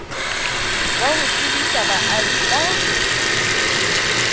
wa ho tsebisa baahi ka